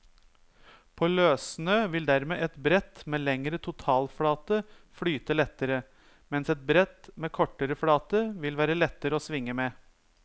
På løssnø vil dermed et brett med lengre totalflate flyte lettere, mens et brett med kortere flate vil være lettere å svinge med.